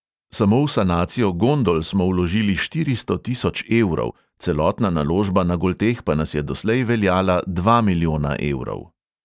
Samo v sanacijo gondol smo vložili štiristo tisoč evrov, celotna naložba na golteh pa nas je doslej veljala dva milijona evrov.